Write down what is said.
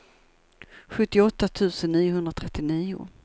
sjuttioåtta tusen niohundratrettionio